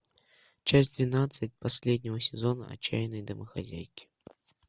часть двенадцать последнего сезона отчаянные домохозяйки